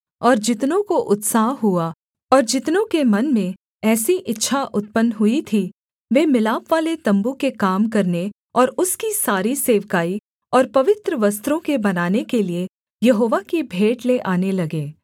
और जितनों को उत्साह हुआ और जितनों के मन में ऐसी इच्छा उत्पन्न हुई थी वे मिलापवाले तम्बू के काम करने और उसकी सारी सेवकाई और पवित्र वस्त्रों के बनाने के लिये यहोवा की भेंट ले आने लगे